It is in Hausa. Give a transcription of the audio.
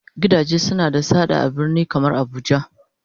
gidaje suna da sada a birni kamar abuja.